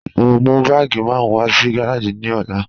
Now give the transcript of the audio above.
Mo n mú bàágí márùn wà sí gàràjì ní òlà.